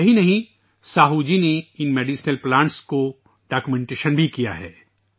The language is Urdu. یہی نہیں، ساہو جی نے ان دواؤں کے پودوں کو دستاویزی شکل بھی دی ہے